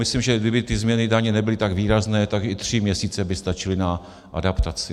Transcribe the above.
Myslím, že kdyby ty změny daní nebyly tak výrazné, tak i tři měsíce by stačily na adaptaci.